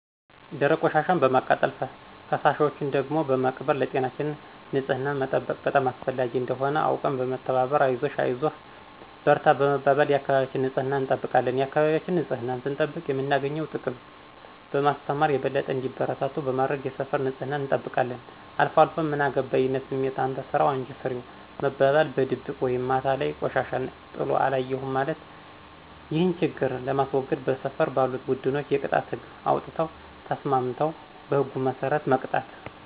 ደረቅ ቆሻሻን በማቃጠል ፈሳሾችን ደግሞ በመቅበር ለጤናችን ንፅህናን መጠበቅ በጣም አስፈላጊ እንደሆነ አውቀን በመተባበር አይዞሽ አይዞህ በርታ በመባባል የአካባቢያችን ንፅህና እንጠብቃለን የአካባቢያችን ንፅህናን ስንጠብቅ የምናገኘውን ጥቅም በማስተማር የበለጠ እንዲበረታቱ በማድረግ የሰፈር ንፅህናን እንጠብቃለን። አልፏልፎ ምን አገባይነት ስሜት፣ አንተ ስራው አንች ስሪው መባባል፣ በድብቅ ወይም ማታ ላይ ቆሻሻ ጥሎ አለየሁም ማለት። ይህን ችግር ለማስዎገድ በሰፈር ባሉት ቡድኖች የቅጣት ህግ አውጥተው ተስማምተው በህጉ መስረት መቅጣት።